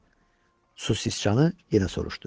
Su siçanı yenə soruşdu.